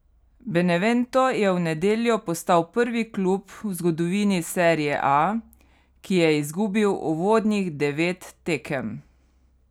Benevento je v nedeljo postal prvi klub v zgodovini serie A, ki je izgubil uvodnih devet tekem.